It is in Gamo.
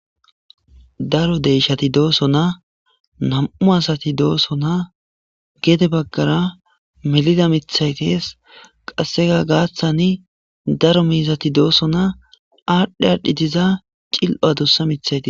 Daro deeshshathi doosona; nam7u asathi doosona; gede baggara melida miththey dees; qassikka gaaththani daro miizzeti doosona; aadhdhi aadhdhi diza cil7o adussa miththay dees.